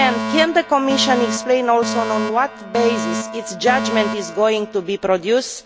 Can the Commission also explain on what basis its judgment is going to be produced?